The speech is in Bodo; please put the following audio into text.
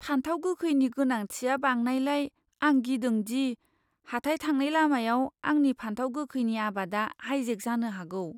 फानथाव गोखैनि गोनांथिया बांनायलाय, आं गिदों दि हाथाइ थांनाय लामायाव आंनि फानथाव गोखैनि आबादा हाइजेक जानो हागौ।